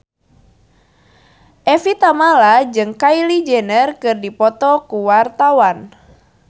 Evie Tamala jeung Kylie Jenner keur dipoto ku wartawan